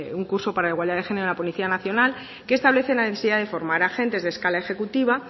un curso para la igualdad del género a la policía nacional que establecen la necesidad de formar agentes de escala ejecutiva